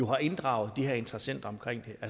har inddraget de her interessenter